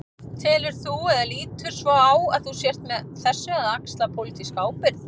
Telur þú, eða lítur svo á að þú sért með þessu að axla pólitíska ábyrgð?